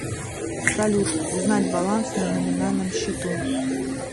салют узнать баланс на номинальном счету